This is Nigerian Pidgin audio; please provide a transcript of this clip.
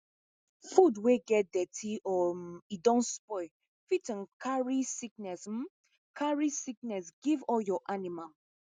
food wey get dirty or um e don spoil fit um carry sickness um carry sickness give all your animal